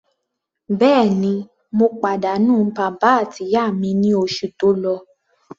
Bẹ́ẹ̀ni, mo pàdánù bàbá àti ìyá mi ní oṣù tó lọ.